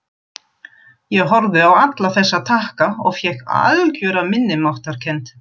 Í Þjóðviljanum var viðkvæðið líkt: Bretar þverbrjóta hlutleysi Íslands.